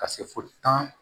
Ka se fo tan